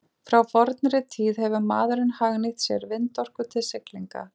Frá fornri tíð hefur maðurinn hagnýtt sér vindorku til siglinga.